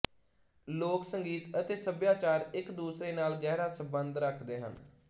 ਲੋਕ ਸੰਗੀਤ ਅਤੇ ਸੱਭਿਆਚਾਰ ਇਕ ਦੂਸਰੇ ਨਾਲ ਗਹਿਰਾ ਸਬੰਧ ਰੱਖਦੇ ਹਨ